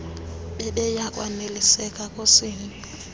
bebeya kwaneliseka kusini